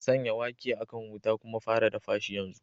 Sanya wake a kan wuta kuma fara dafa shi yanzu!